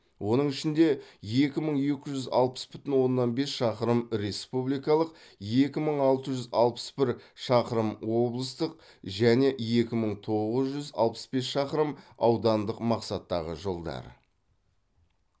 оның ішінде екі мың екі жүз алпыс бүтін оннан бес шақырым республикалық екі мың алты жүз алпыс бір шақырым облыстық және екі мың тоғыз жүз алпыс бес шақырым аудандық мақсаттағы жолдар